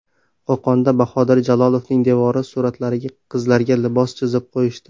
Qo‘qonda Bahodir Jalolovning devoriy suratlaridagi qizlarga libos chizib qo‘yishdi.